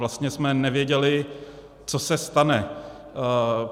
Vlastně jsme nevěděli, co se stane.